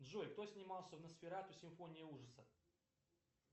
джой кто снимался в носферату симфония ужаса